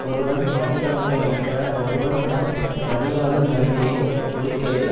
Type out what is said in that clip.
ஒருவன் மடி ஆண்மை மாற்ற ஒருவன் தன் மடியாளுந் தன்மையை ஒழிக்கவே